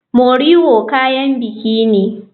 Moriwo kayan biki ne.